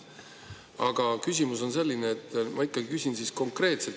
Aga küsimus on selline, ma ikkagi küsin konkreetselt.